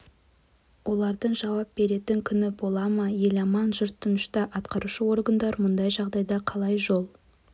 олардың жауап беретін күні бола ма ел аман жұрт тынышта атқарушы органдар мұндай жағдайға қалай жол